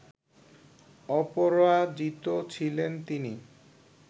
অপরাজিত ছিলেন তিনি